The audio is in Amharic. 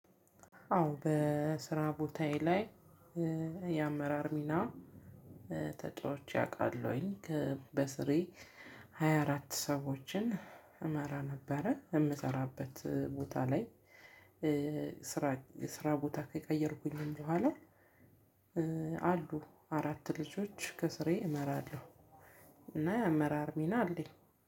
አዎ በስራ ቦታዬ ላይ የአመራር ሚና ተጫዋቼ አውቃለሁኝ። በስራዬ ሃያ አራት ሰዎችን እመራ ነበረ የምሰራበት ቦታ ላይ። ስራ የስራ ቦታ ከቀየርኩኝ በኋላ። አሉ አራት ልጆች ከስሬ እመራለሁ። እና የአመራር ሚና አለኝ።